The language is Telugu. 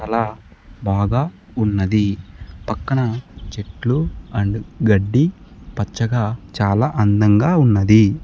అలా బాగా ఉన్నది పక్కన చెట్లు అండ్ గడ్డి పచ్చగా చాలా అందంగా ఉన్నది.